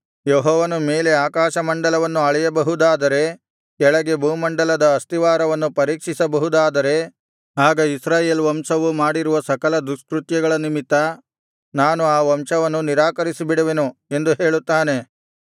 ಯೆಹೋವನು ಮೇಲೆ ಆಕಾಶಮಂಡಲವನ್ನು ಅಳೆಯಬಹುದಾದರೆ ಕೆಳಗೆ ಭೂಮಂಡಲದ ಅಸ್ತಿವಾರವನ್ನು ಪರೀಕ್ಷಿಸಬಹುದಾದರೆ ಆಗ ಇಸ್ರಾಯೇಲ್ ವಂಶವು ಮಾಡಿರುವ ಸಕಲ ದುಷ್ಕೃತ್ಯಗಳ ನಿಮಿತ್ತ ನಾನು ಆ ವಂಶವನ್ನು ನಿರಾಕರಿಸಿಬಿಡುವೆನು ಎಂದು ಹೇಳುತ್ತಾನೆ